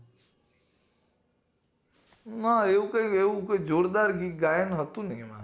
હા એવું કય એવુંય ગાયન હોતું નય એમાં